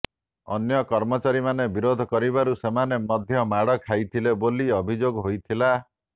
ଅନ୍ୟ କର୍ମଚାରୀମାନେ ବିରୋଧ କରିବାରୁ ସେମାନେ ମଧ୍ୟ ମାଡ଼ ଖାଇଥିଲେ ବୋଲି ଅଭିଯୋଗ ହୋଇଥିଲା